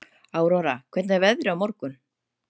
Áróra, hvernig verður veðrið á morgun?